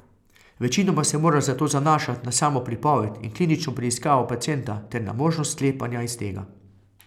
Večinoma se moraš zato zanašat na samo pripoved in klinično preiskavo pacienta ter na možnost sklepanja iz tega.